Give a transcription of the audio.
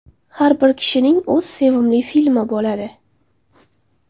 Har bir kishining o‘z sevimli filmi bo‘ladi.